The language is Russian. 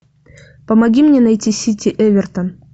помоги мне найти сити эвертон